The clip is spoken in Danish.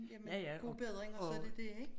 Jamen god bedring og så er det dét ik